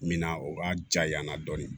Min na o ka ja yanna dɔɔni